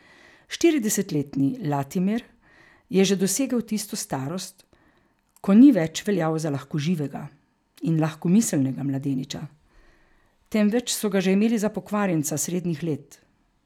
Štiridesetletni Latimer je že dosegel tisto starost, ko ni več veljal za lahkoživega in lahkomiselnega mladeniča, temveč so ga že imeli za pokvarjenca srednjih let.